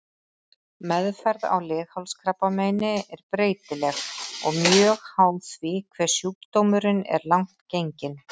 Meðferð á leghálskrabbameini er breytileg og mjög háð því hve sjúkdómurinn er langt genginn.